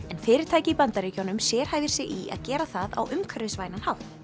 en fyrirtæki í Bandaríkjunum sérhæfir sig í að gera það á umhverfisvænan hátt